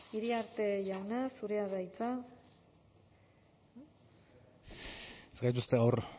iriarte jauna zurea da hitza ez gaituzte gaur